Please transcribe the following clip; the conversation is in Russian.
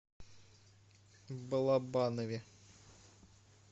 балабанове